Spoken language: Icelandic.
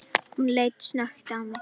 Hún leit snöggt á mig